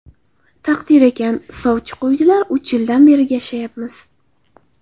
Taqdir ekan, sovchi qo‘ydilar, uch yildan beri yashayapmiz.